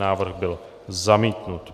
Návrh byl zamítnut.